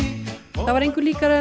það var engu líkara en